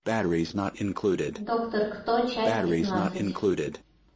доктор кто часть пятнадцать